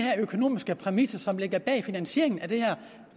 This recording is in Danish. økonomiske præmisser som ligger bag finansieringen af det her